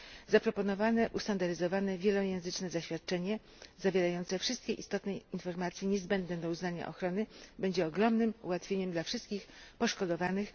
Zaproponowane ustandaryzowane, wielojęzyczne zaświadczenie, zawierające wszystkie istotne informacje niezbędne do uznania ochrony, będzie ogromnym ułatwieniem dla wszystkich poszkodowanych.